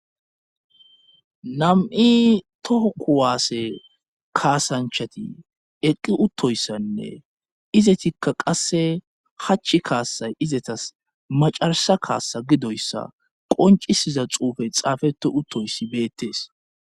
nam7i toho ku waasse kaasanchati eqqi uttoyssanne izetikka qasse hachch kaassay izetas macarasa kaassa gidoyssa qoncisiza xuufey xaafete uttoyssi beettees